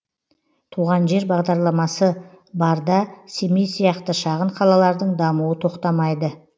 туған жер бағдарламасы барда семей сияқты шағын қалалардың дамуы тоқтамайды